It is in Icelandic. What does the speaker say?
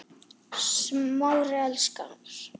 Smári elskar